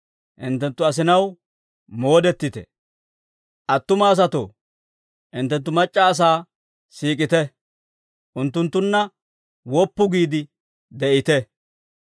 Attuma asatoo, hinttenttu mac'c'a asaa siik'ite; unttunttunna woppu giide de'ite.